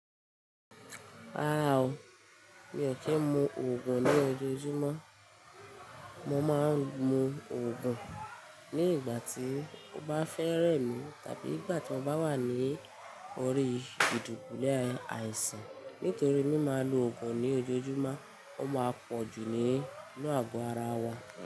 Rárá o, mi ò kí ń mu Ògùn ní ojoojúmọ́. Mo máa ń mu Ògùn ní ìgbà tí mo bá fẹ́rẹ́ mi tàbí ìgbà tí mo bá wà ní orí ìdùkúlé àìsàn. Nítorí mí máa ń lo Ògùn ní ojoojúmọ́, ó máa pọ̀ jù ní inú àgọ́ ara wa.